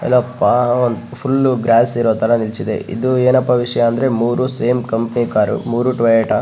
ಎಲ್ಲಪ್ಪಒಮ್ದು full grass ಇರೋತರ ನಿಲ್ಸಿದೆ ಇದು ಏನಪ್ಪ ವಿಷಯ ಅಂದ್ರೆ ಸೇಮ್ ಕಂಪನಿ ಕಾರ್ ಮೂರು ಟೊಯೋಟ .